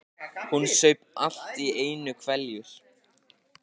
Hún saup allt í einu hveljur.